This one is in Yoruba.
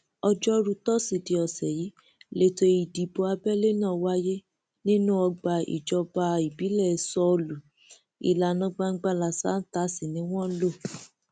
ọjọrùú tosidee ọsẹ yìí lẹtọ ìdìbò abẹlé náà wáyé nínú ọgbà ìjọba ìbílẹ sọọlù ìlànà gbangbalasàáta sí ni wọn lò